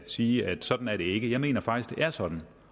sige at sådan er det ikke jeg mener faktisk er sådan